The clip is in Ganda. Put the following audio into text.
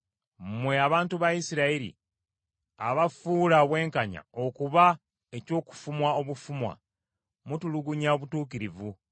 Mmwe abantu ba Isirayiri abafuula obwenkanya okuba eky’okufumwa obufumwa mutulugunya obutuukirivu.